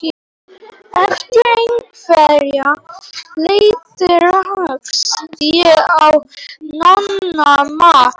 Eftir einhverja leit rakst ég á Nonna Matt.